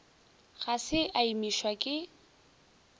ga se a imišwa ke